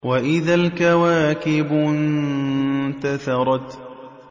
وَإِذَا الْكَوَاكِبُ انتَثَرَتْ